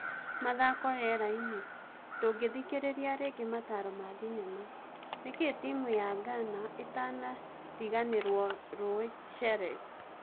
(Mathako Rĩerainĩ) Ndũngĩthikĩrĩria rĩngĩ mataro ma-thinema, Nĩkĩĩ timu ya Ngana ĩtakarĩganĩrwo Rui Cheres?